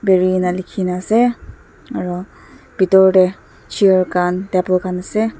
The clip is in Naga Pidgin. peri ena lekhi na ase aro bitor tey chair khan table khan ase.